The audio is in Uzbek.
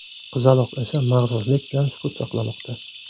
Qizaloq esa mag‘rurlik bilan sukut saqlamoqda.